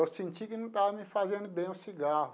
Eu senti que não estava me fazendo bem o cigarro.